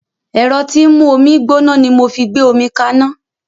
Ẹ̀rọ tí ń mú omi gbóná ni mo fi gbé omi kaná